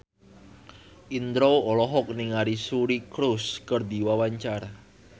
Indro olohok ningali Suri Cruise keur diwawancara